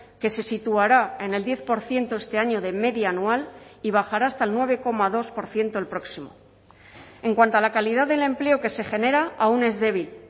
que se situará en el diez por ciento este año de media anual y bajará hasta el nueve coma dos por ciento el próximo en cuanto a la calidad del empleo que se genera aún es débil